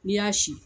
N'i y'a sin